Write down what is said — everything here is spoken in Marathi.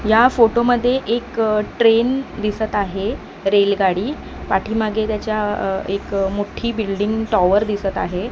या फोटो मध्ये एक ट्रेन दिसत आहे रेलगाडी पाठीमागे त्याज्या अह एक मोठी बिल्डिंग टॉवर दिसत आहे.